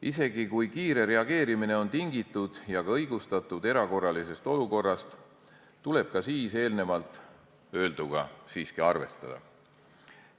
Isegi kui kiire reageerimine on tingitud erakorralisest olukorrast ja sellega ka õigustatud, tuleb eelnevalt öelduga siiski arvestada.